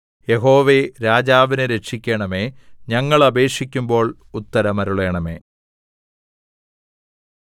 യഹോവേ രാജാവിനെ രക്ഷിക്കണമേ ഞങ്ങൾ അപേക്ഷിക്കുമ്പോൾ ഉത്തരമരുളണമേ